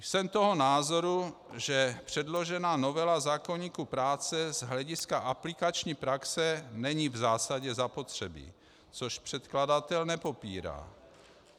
Jsem toho názoru, že předložená novela zákoníku práce z hlediska aplikační praxe není v zásadě zapotřebí, což předkladatel nepopírá.